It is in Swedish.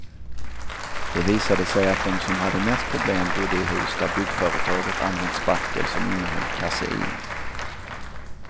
Det visade sig att de som hade mest problem bodde i hus där byggföretaget använt spackel som innehöll kasein.